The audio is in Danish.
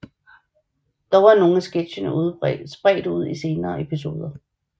Dog er nogle af sketchene spredt ud i senere episoder